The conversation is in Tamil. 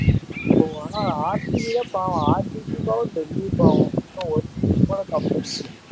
ஆஹ் ஆனா தான் பாவம் பெரிய சோகம் இன்னும் ஒரு வருஷம் கூட cup அடிக்கல